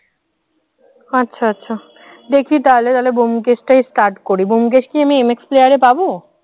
আচ্ছা আচ্ছা দেখি তাহলে তাহলে ব্যোমকেশ টাই start করি ব্যোমকেশটা কি আমি MX player এ পাব?